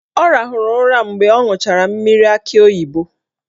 Ọ rahụrụ ụra mgbe ọ ṅụchara mmiri akị oyibo